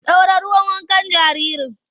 Ɗora ruwan wankan jaririn!